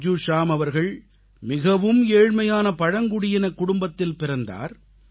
பஜ்ஜூ ஷ்யாம் அவர்கள் மிகவும் ஏழ்மையான பழங்குடியினக் குடும்பத்தில் பிறந்தார்